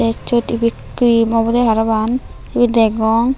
teysyot ibey cream obwdey parapang sibey degong.